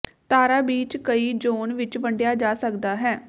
ਤਾਰਾ ਬੀਚ ਕਈ ਜ਼ੋਨ ਵਿੱਚ ਵੰਡਿਆ ਜਾ ਸਕਦਾ ਹੈ